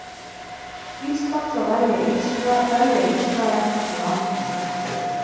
Íslands að velja Ísrael sem land númer tvö.